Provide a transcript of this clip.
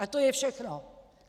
A to je všechno!